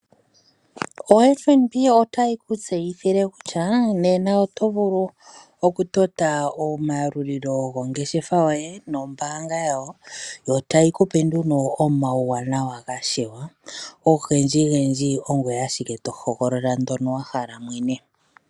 Ombanga yotango otayi ku tseyithile kutya nena oto vulu okutota omayalulilo gongeshefa yoye nombaanga yawo, yotayi kupe nduno omawuwanawa gashiwa, ogendji gendji ongoye ashike tohogolola ndono wahala mwene.